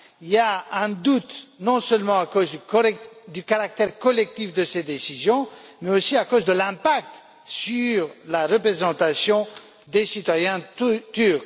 Il y a un doute, non seulement à cause du caractère collectif de cette décision, mais aussi à cause de l'impact sur la représentation des citoyens turcs.